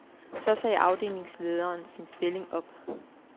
Så sagde afdelingslederen sin stilling op.